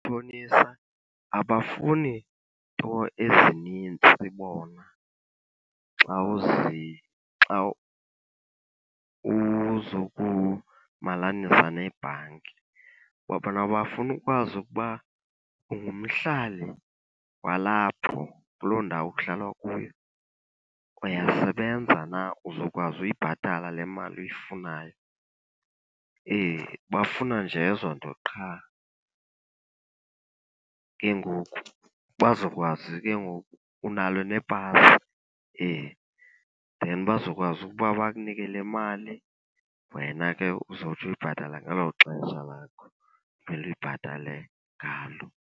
Oomatshonisa abafuni nto ezinintsi bona xa , xa uzokumalanisa nebhanki. Kwa bona bafuna ukwazi ukuba ungumhlali walapho kuloo ndawo kuhlalwa kuyo, uyasebenza na, uzokwazi uyibhatala le mali uyifunayo. Bafuna nje ezo nto qha. Ke ngoku bazokwazi ke ngoku, unalo nepasi, then bazokwazi ukuba bakunike le mali wena ke uzotsho uyibhatale ngelo xesha lakho kumele uyibhatale ngalo.